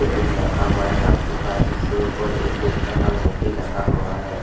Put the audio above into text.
Table रखा हुआ है काठों का जिसके ऊपर एक देवता का मोती लगा हुआ है।